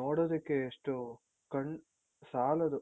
ನೋಡೋದಿಕ್ಕೆ ಎಷ್ಟು ಕಣ್ಣ್ ಸಾಲದು.